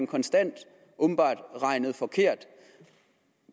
konstant regnet forkert